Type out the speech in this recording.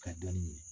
Ka dɔnni ɲini